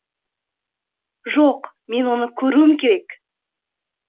жоқ мен оны көруім керек